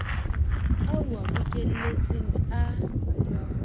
ao o a bokelletseng a